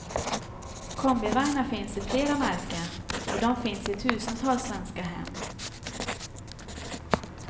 Kombivagnar finns i flera märken och de finns i tusentals svenska hem.